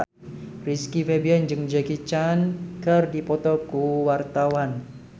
Rizky Febian jeung Jackie Chan keur dipoto ku wartawan